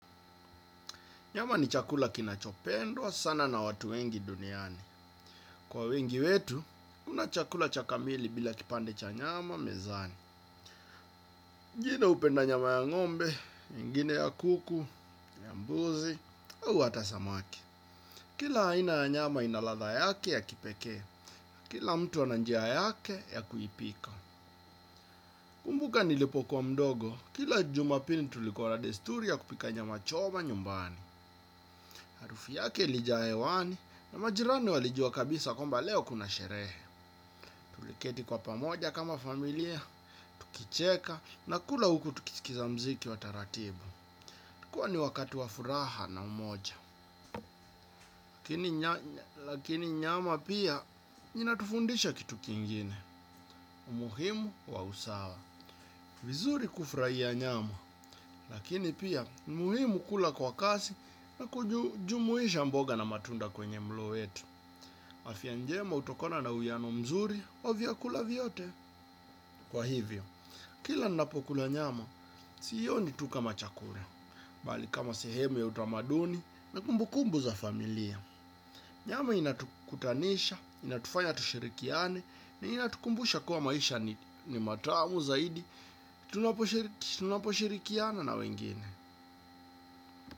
Nyama ni chakula kinachopendwa sana na watu wengi duniani. Kwa wengi wetu, kuna chakula cha kamili bila kipande cha nyama mezani. Wengine hupenda nyama ya ngombe, wengine ya kuku, ya mbuzi, au hata samaki. Kila aina ya nyama ina ladha yake ya kipeke. Kila mtu ana njia yake ya kuipika. Nakumbuka nilipokuwa mdogo, kila jumapili tulikuwa na desturi ya kupika nyama choma nyumbani. Harufu yake ilijaa hewani na majirani walijua kabisa kwamba leo kuna sherehe. Tuliketi kwa pamoja kama familia, tukicheka, na kula huku tukisikiza mziki wa taratibu. Ilikua ni wakati wa furaha na umoja. Lakini nyama pia inatufundisha kitu kingine. Umuhimu wa usawa. Ni vizuri kufurahia nyama. Lakini pia, ni muhimu kula kwa kasi na kujumuisha mboga na matunda kwenye mlo wetu. Afya njema hutokona na uwiano mzuri wa vyakula vyote. Kwa hivyo, kila nnapo kula nyama, siioni tu kama chakula. Mbali kama sehemu ya utamaduni na kumbu kumbu za familia. Nyama inatukutanisha, inatufaya tushirikiane na inatukumbusha kuwa maisha ni matamu zaidi. Tunaposhirikiana na wengine.